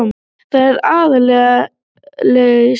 Það er aðgerðaleysið